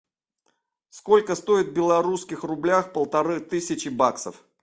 сколько стоит в белорусских рублях полторы тысячи баксов